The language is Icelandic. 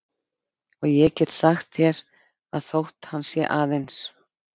Og ég get sagt þér að þótt hann sé aðeins